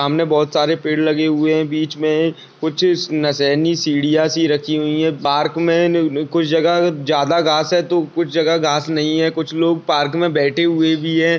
यहाँ पर बहुत सारे पेड़ लगे हुई है बिच मे कुछ नसैनी सिडया सी रखी हुई है पार्क में कुछ जगह ज्यादा गास हैतो कुछ जगह कुछ जगह गास नहीं है कुछ लोग पार्क में बेठे हुए भी है